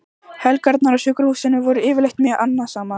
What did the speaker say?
Helgarnar á sjúkrahúsinu voru yfirleitt mjög annasamar.